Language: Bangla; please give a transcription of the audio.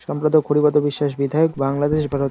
সম্পাদক করিপদ বিশ্বাস বিধায়ক বাংলাদেশ ভারত--